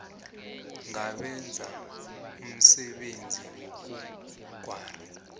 ngabenza umsebenzi wobukghwari